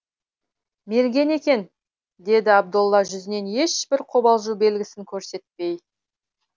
мерген екен деді абдолла жүзінен ешбір қобалжу белгісін көрсетпей